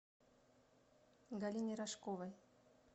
галине рожковой